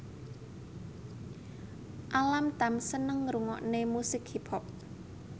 Alam Tam seneng ngrungokne musik hip hop